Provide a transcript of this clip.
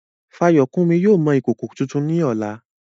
Fayokunmi yóò mọ ìkòkò tuntun ní ọ̀la.